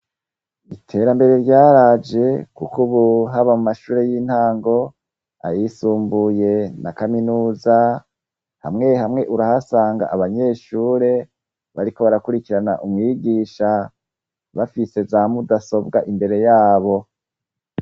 Iterambere ryaraje, kuko ubu haba mu mashure y'intango, ayisumbuye na kaminuza, hamwe hamwe urahasanga abanyeshure bariko barakurikirana umwigisha, bafise za mudasobwa imbere yabo.